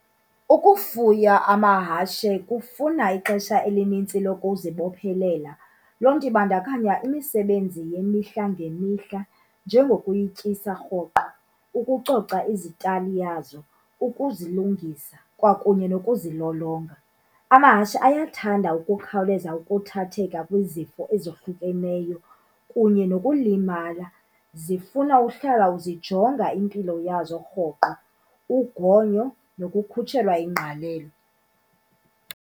Ukufuya amahashe kufuna ixesha elinintsi lokuzibophelela. Loo nto ibandakanya imisebenzi yemihla ngemihla njengokuyityisa rhoqo, ukucoca izitalali yazo, ukuzilungisa kwakunye nokuzilolonga. Amahashi ayathanda ukukhawuleza ukuthatheka kwizifo ezohlukeneyo kunye nokulimala. Zifuna uhlala uzijonga impilo yazo rhoqo, ugonyo nokukhutshelwa ingqalelo.